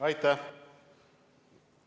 Aitäh!